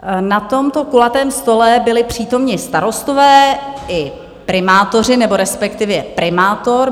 Na tomto kulatém stole byli přítomni starostové i primátoři, nebo respektive primátor.